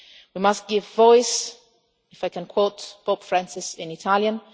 We must give voice, if I can quote Pope Francis in Italian